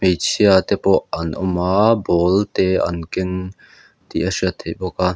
hmeichhia te pawh an awm a ball te an keng tih a hriat theih bawk a.